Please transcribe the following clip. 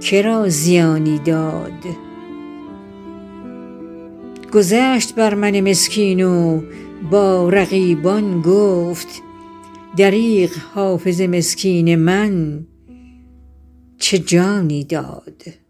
که را زیانی داد گذشت بر من مسکین و با رقیبان گفت دریغ حافظ مسکین من چه جانی داد